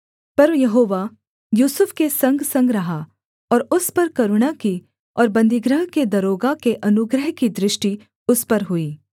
पर यहोवा यूसुफ के संगसंग रहा और उस पर करुणा की और बन्दीगृह के दरोगा के अनुग्रह की दृष्टि उस पर हुई